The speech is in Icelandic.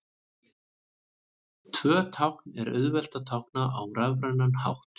Tvö tákn er auðvelt að tákna á rafrænan hátt.